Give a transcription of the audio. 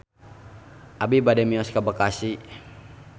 Abi bade mios ka Bekasi